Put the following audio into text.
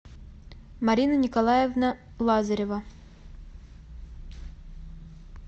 марина николаевна лазарева